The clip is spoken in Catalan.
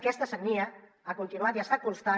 aquesta sagnia ha continuat i està costant